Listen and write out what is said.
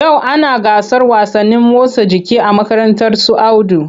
Yau ana gasar wasannin motsa jiki a makarantar su Audu.